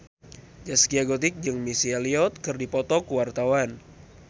Zaskia Gotik jeung Missy Elliott keur dipoto ku wartawan